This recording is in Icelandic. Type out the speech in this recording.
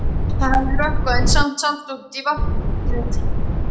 Það hafði rökkvað en samt sást út á vatnið.